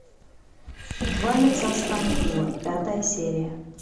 два лица стамбула пятая серия